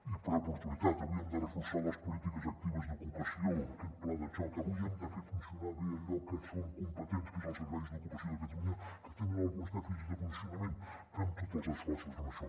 i per oportunitat avui hem de reforçar les polítiques actives d’ocu·pació aquest pla de xoc avui hem de fer funcionar bé allò en què som competents que és el servei d’ocupació de catalunya que té alguns dèficits de funcionament fem tots els esforços en això